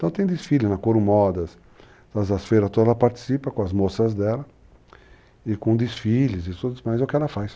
Então tem desfile na Corumodas, nas feiras todas, ela participa com as moças dela e com desfiles e tudo mais, é o que ela faz.